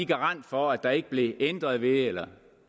garant for at der ikke blev ændret ved det eller